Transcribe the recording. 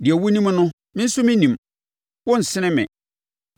Deɛ wonim no, me nso menim; wo nsene me.